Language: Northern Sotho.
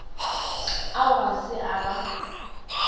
ao ga se a ba